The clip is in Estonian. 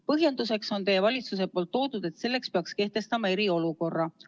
Põhjenduseks on teie valitsus toonud, et selleks peaks kehtestama eriolukorra.